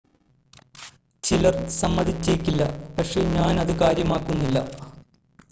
ചിലർ സമ്മതിച്ചേക്കില്ല പക്ഷെ ഞാൻ അത് കാര്യമാക്കുന്നില്ല